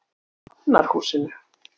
Hafnarhúsinu